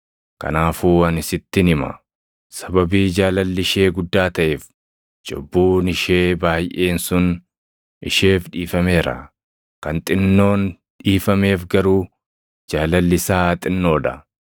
Kanaafuu ani sittin hima; sababii jaalalli ishee guddaa taʼeef cubbuun ishee baayʼeen sun isheef dhiifameera. Kan xinnoon dhiifameef garuu jaalalli isaa xinnoo dha.”